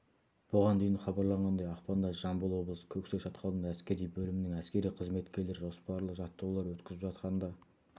бұған дейін хабарлағандай ақпанда жамбыл облысы көксай шатқалында әскери бөлімінің әскери қызметкерлері жоспарлы жаттығулар өткізіп жатқанда